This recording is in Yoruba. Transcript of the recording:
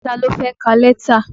Ta ló fẹ́ ka lẹ́tà?